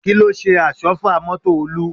Kí ló ṣe àsọ́fà mọ́tò Olú?